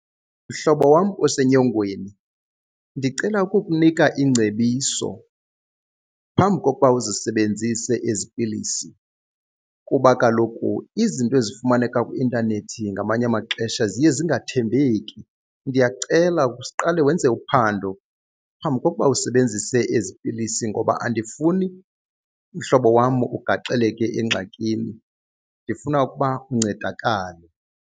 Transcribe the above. Mhlobo wam osenyongweni, ndicela ukukunika ingcebiso phambi kokuba uzisebenzise ezi pilisi kuba kaloku izinto ezifumaneka kwi-intanethi ngamanye amaxesha ziye zingathembeki. Ndiyakucela siqale wenze uphando phambi kokuba usebenzise ezi pilisi ngoba andifuni mhlobo wam ugaxeleke engxakini, ndifuna ukuba uncedakale.